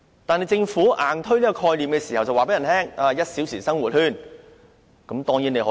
但是，政府硬推這個概念的時候，卻告訴大家可實現 "1 小時生活圈"。